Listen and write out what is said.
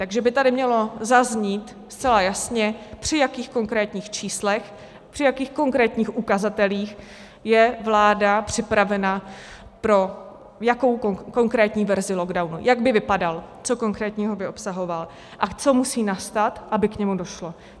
Takže by tady mělo zaznít zcela jasně, při jakých konkrétních číslech, při jakých konkrétních ukazatelích je vláda připravena pro jakou konkrétní verzi lockdownu, jak by vypadal, co konkrétního by obsahoval a co musí nastat, aby k němu došlo.